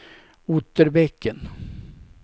Otterbäcken